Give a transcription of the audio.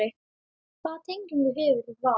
Hvaða tengingu hefurðu við Val?